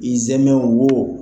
I sɛmɛ wo.